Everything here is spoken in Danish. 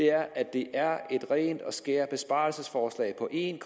er at det er et rent og skært besparelsesforslag på en